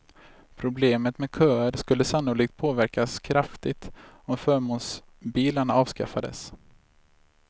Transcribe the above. Problemet med köer skulle sannolikt påverkas kraftigt om förmånsbilarna avskaffades.